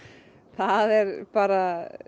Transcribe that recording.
það er bara